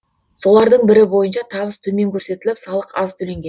солардың бірі бойынша табыс төмен көрсетіліп салық аз төленген